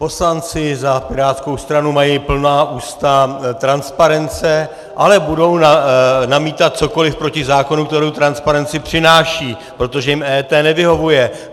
Poslanci za pirátskou stranu mají plná ústa transparence, ale budou namítat cokoliv proti zákonu, který transparenci přináší, protože jim EET nevyhovuje.